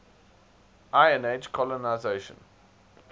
iron age colonisation